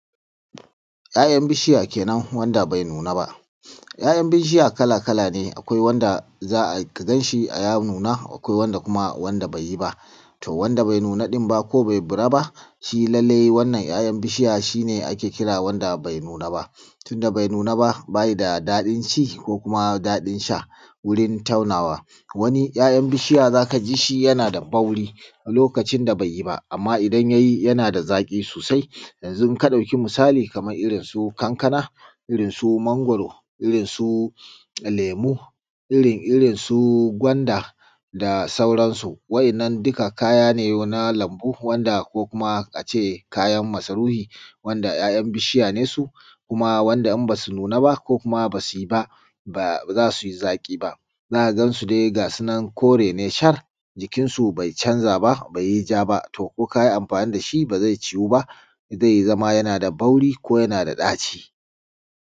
‘Ya’yan bishiya kenan wanda bai nuna ba ‘ya’yan bishiya kala kala ne akwai wanda zaka ganshi ya nuna akwai kuma wanda zaka ganshi bai nuna ba shi wanda bai nuna din ba ko bai bura shine wanda ake kira bai nuna ba tunda bai nuna ba bayi da daɗin ko daɗin sha wurin taunawa wani ‘ya’yan bishiya zaka jishi yanada bauri lokacin da baiyi amma idan ya nuna zaka jishi yana da zaki sosai yanzu idan ka dauka kaman irrin su kankana ko mangwaro irrin su lemu irrin su gwanda da sauran su wa yannan duka kaya ne na lambu ko kuma ince kayan masarufi kuma ya yan bishiya ne su wanda inba su nuna ko basu ba bazasu zaki ba zaka gansu ne gasunan kore ne shar jikin su bai chanza ba baiyi ja ba to kokayi amfani dashi bazai cuwu ba zai zama yanada bauri ko yana da daci